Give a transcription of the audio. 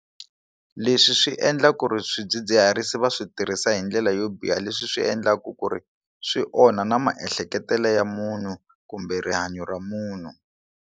Leswi swi endla ku ri swidzidziharisi va swi tirhisa hi ndlela yo biha leswi swi endlaku ku ri swi onha na maehleketelo ya munhu kumbe rihanyo ra munhu.